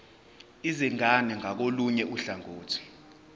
izingane ngakolunye uhlangothi